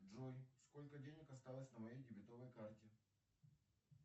джой сколько денег осталось на моей дебетовой карте